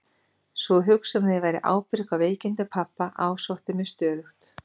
Sú hugsun að ég bæri ábyrgð á veikindum pabba ásótti mig stöðugt.